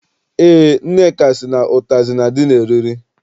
Eé, Nneka sị na ụtazị na- adị n'eriri.